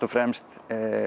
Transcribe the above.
fremst